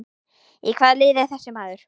Í hvaða liði er þessi maður?